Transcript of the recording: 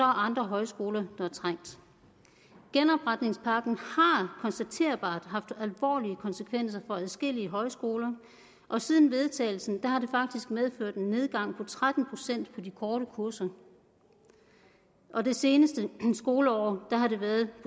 andre højskoler der er trængte genopretningspakken har konstaterbart haft alvorlige konsekvenser for adskillige højskoler og siden vedtagelsen har det faktisk medført en nedgang på tretten procent i de korte kurser og det seneste skoleår har den været